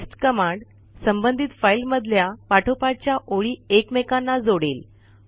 paste command संबंधित file मधल्या पाठोपाठच्या ओळी एकमेकांना जोडेल